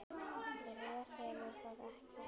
Hver hefur það ekki?